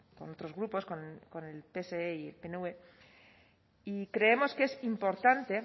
con otros grupos con el pse y el pnv y creemos que es importante